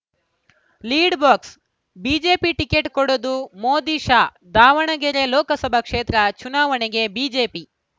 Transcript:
lead box BJP ticket ಕೊಡೋದು ಮೋದಿಶಾ ದಾವಣಗೆರೆ ಲೋಕಸಭಾ ಕ್ಷೇತ್ರ ಚುನಾವಣೆಗೆ ಬಿಜೆಪಿ